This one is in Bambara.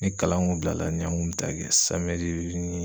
Ni kalan ŋun bilala ni an ŋun bi taa kɛ ni